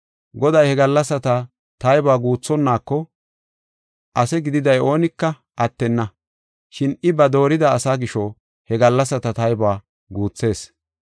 Goday he gallasata taybuwa guuthonnaako, ase gidida oonika attenna. Shin I ba doorida asa gisho, he gallasata taybuwa guuthees.